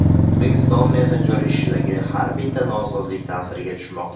O‘zbekiston messenjer ishidagi har bitta nosozlik ta’siriga tushmoqda.